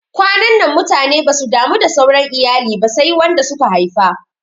Kwanannan mutane basu damu da sauran iyali ba sai wanda suka haifa